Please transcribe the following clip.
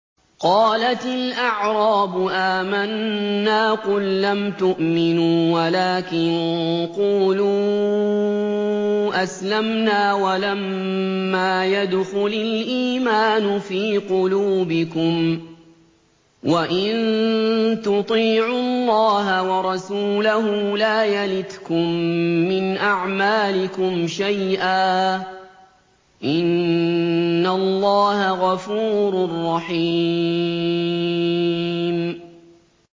۞ قَالَتِ الْأَعْرَابُ آمَنَّا ۖ قُل لَّمْ تُؤْمِنُوا وَلَٰكِن قُولُوا أَسْلَمْنَا وَلَمَّا يَدْخُلِ الْإِيمَانُ فِي قُلُوبِكُمْ ۖ وَإِن تُطِيعُوا اللَّهَ وَرَسُولَهُ لَا يَلِتْكُم مِّنْ أَعْمَالِكُمْ شَيْئًا ۚ إِنَّ اللَّهَ غَفُورٌ رَّحِيمٌ